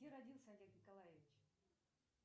где родился олег николаевич